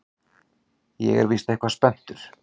Ég er víst eitthvað spenntur.